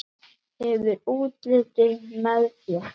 Hefur útlitið með þér.